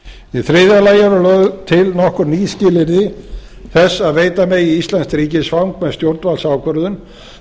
í þriðja lagi eru lögð til nokkur ný skilyrði þess að veita megi íslenskt ríkisfang með stjórnvaldsákvörðun